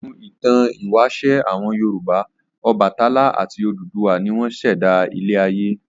Nínú ìtàn ìwáṣẹ̀ àwọn Yorùbá Ọbàtálá àti Odùduwà ni wọ́n ṣẹ̀dá ilé-ayé.